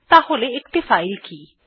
তাহলে একটি ফাইল কি160